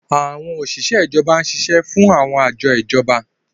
Àwọn òṣìṣẹ́ ìjọba ń ṣiṣẹ́ fún àwọn àjọ ìjọba.